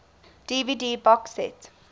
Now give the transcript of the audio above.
dvd box set